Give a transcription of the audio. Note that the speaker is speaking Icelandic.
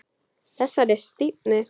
Þessari stífni.